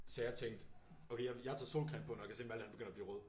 Så jeg tænkte okay jeg tager solcreme på når jeg kan se Malthe han begynder at blive rød